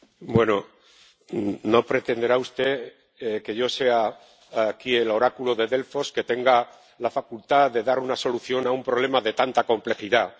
Bueno, no pretenderá usted que yo sea aquí el oráculo de Delfos y tenga la facultad de dar una solución a un problema de tanta complejidad.